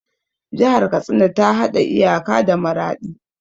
Jihar Katsina ta haɗa iyaka da Maraɗi.